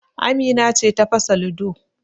Amina ce ta fasa ludo